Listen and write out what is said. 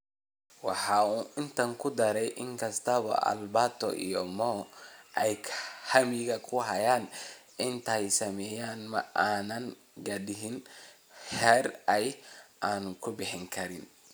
Waxa uu intaa ku daray: "In kasta oo Alberto iyo Mo ay hamiga ku hayaan inay tan sameeyaan, ma aanaan gaadhin heer ay...aannu ka bixi karin."